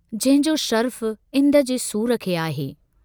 जंहिंजो शरफ़ु इंद जे सूर खे आहे।